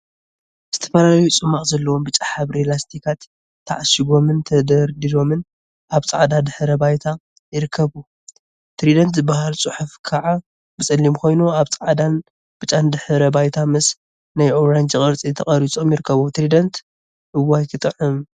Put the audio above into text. ዝተፈላለዩ ፅሟቅ ዘለዎም ብጫ ሕብሪ ላስቲካት ተዓሺጎምን ተደርዲሮምን አብ ፃዕዳ ድሕረ ባይታ ይርከቡ፡፡ ትሪደንት ዝብል ፅሑፍ ከዓ ብፀሊም ኮይኑ አብ ፃዕዳን ብጫን ድሕረ ባይታ ምስ ናይ አራንጂ ቁራፅ ተቀሪፆም ይርከቡ፡፡ ትሪደንት እዋይ ክጥዕም!